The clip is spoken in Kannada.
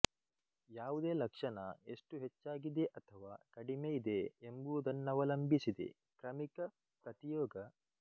ಯಾವುದೇ ಲಕ್ಷಣ ಎಷ್ಟು ಹೆಚ್ಚಾಗಿದೆ ಅಥವಾ ಕಡಿಮೆ ಇದೆ ಎಂಬುದನ್ನವಲಂಬಿಸಿದೆಕ್ರಮಿಕ ಪ್ರತಿಯೋಗ